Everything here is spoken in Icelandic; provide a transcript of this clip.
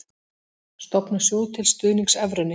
Stofna sjóð til stuðnings evrunni